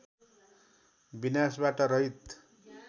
विनाशबाट रहित